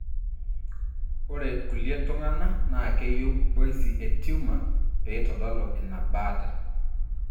Ore ilkulie tungana na keyieu biosy etumour peitodolu ina mbaata.